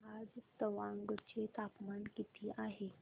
आज तवांग चे तापमान किती आहे